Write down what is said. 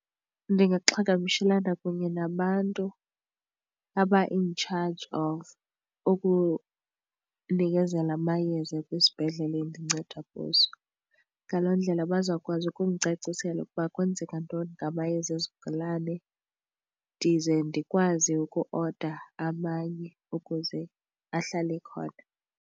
Ndingaxhagamshelana kunye nabantu aba in charge of ukunikezela amayeza kwisibhedlele endinceda kuso. Ngaloo ndlela bazawukwazi ukundicacisela ukuba kwenzeka ntoni ngamayeza ezigulane ndize ndikwazi ukuoda amanye ukuze ahlale ekhona.